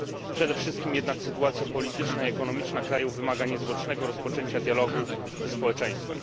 Przede wszystkim jednak sytuacja polityczna i ekonomiczna kraju wymaga niezwłocznego rozpoczęcia dialogu ze społeczeństwem.